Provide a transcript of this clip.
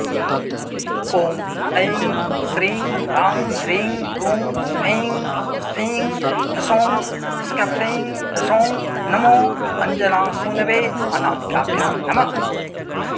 ॐ ऐं श्रीं ह्रांह्रींह्रूं स्फें ख्फें ह्सौं ह्स्ख्फ्रें ह्सौं नमो अञ्जनासूनवे अनामिकाभ्यां नमः